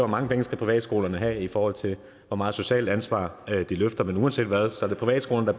mange penge privatskolerne skal have i forhold til hvor meget socialt ansvar de løfter men uanset hvad er det privatskolerne